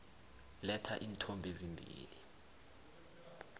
letha iinthombe ezimbili